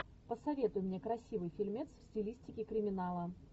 посоветуй мне красивый фильмец в стилистике криминала